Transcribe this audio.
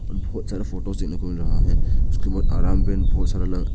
बहुत सारे फोटोज इनमें खुल रहा है उसके बाद आराम बेंच बहुत सारा लगा--